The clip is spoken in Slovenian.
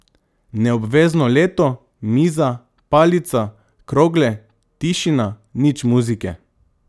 Neobvezno leto, miza, palica, krogle, tišina, nič muzike.